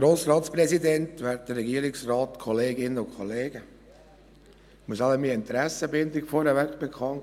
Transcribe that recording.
Ich muss wohl zuerst meine Interessenbindung bekannt geben: